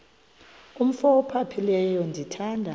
umf ophaphileyo ndithanda